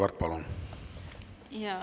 Aitäh!